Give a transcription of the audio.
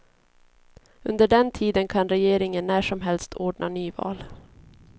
Under den tiden kan regeringen när som helst ordna nyval.